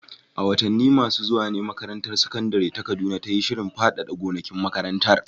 A watanni masu zuwa ne makarantar sakandare ta Kaduna ta yi shirin faɗaɗa gonakin makarantar.